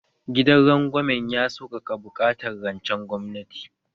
Gidan rangwamen ya saukaka buƙatar rancen gwamnati